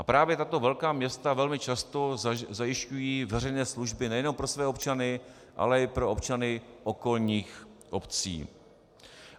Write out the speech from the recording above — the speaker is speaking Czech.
A právě tato velká města velmi často zajišťují veřejné služby nejenom pro své občany, ale i pro občany okolních obcí.